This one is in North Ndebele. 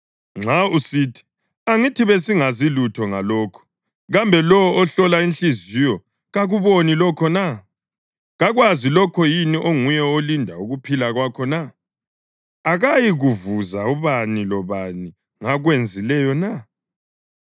Nxa usithi, “Angithi besingazi lutho ngalokhu,” kambe lowo ohlola inhliziyo kakuboni lokho na? Kakwazi lokho yini onguye olinda ukuphila kwakho na? Akayikuvuza ubani lobani ngakwenzileyo na?